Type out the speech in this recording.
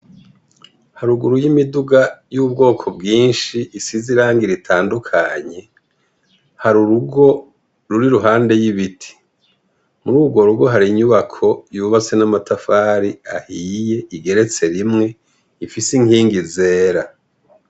Haruguru y'imiduga y'ubwoko bwinshi isize irangi ritandukanye. Har’urugo ruri ruhande y'ibiti. Mururwo rugo hari inyubako yubatse n'amatafari ahiye igeretse rimwe ifise inkingi zera.